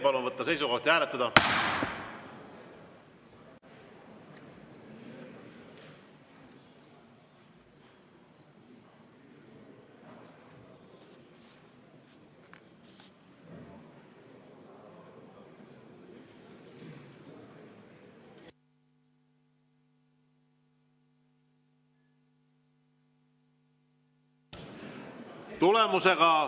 Palun võtta seisukoht ja hääletada!